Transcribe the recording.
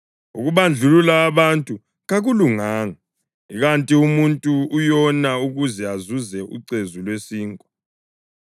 Ukubandlulula abantu kakulunganga ikanti umuntu uyona ukuze azuze ucezu lwesinkwa.